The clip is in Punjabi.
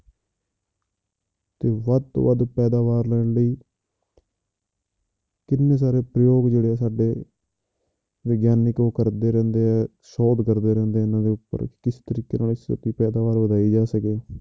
ਤੇ ਵੱਧ ਤੋਂ ਵੱਧ ਪੈਦਾਵਾਰ ਲੈਣ ਲਈ ਕਿੰਨੇ ਸਾਰੇ ਜਿਹੜੇ ਆ ਸਾਡੇ ਵਿਗਿਆਨਿਕ ਉਹ ਕਰਦੇ ਰਹਿੰਦੇ ਹੈ ਸੋਧ ਕਰਦੇ ਰਹਿੰਦੇ ਇਹਨਾਂ ਦੇ ਉੱਪਰ ਕਿਸ ਤਰੀਕੇ ਨਾਲ ਛੇਤੀ ਪੈਦਾਵਾਰ ਵਧਾਈ ਜਾ ਸਕੇ।